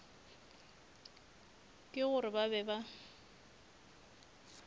ke gore ba be ba